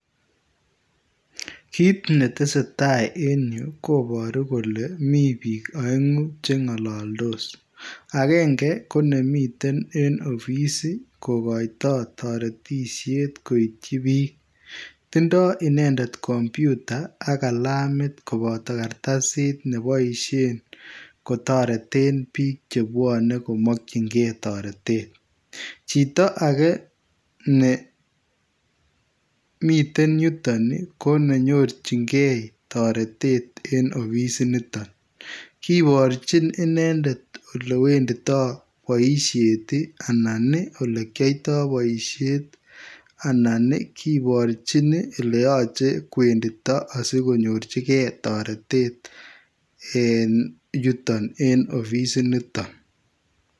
Kit ne tesetai en Yuu kobaruu kole Mii biik aenguu che ngalndos agenge ko nemiten en [office] ii ko koitai taretisheet kityoi biik tindai inendet [computer] ak kalamiit kobataa kartasiit nebaisheen kotareteen biik che bwanei komakyigei taretet chitoo age ne miten Yutoon ii ko me nyonjiin gei taretet en offisiit nitoon kibarjiin inendet ole wenditai bosiet ii anan ii ole kiyaotai bosiet anan kibarjiin ii ole yachei kowenditai asikonyoorjigei taretet en yutoon en offisiit nitoon.